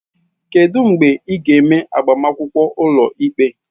Kedu mgbe ị ga-eme agbamakwụkwọ ụlọikpe?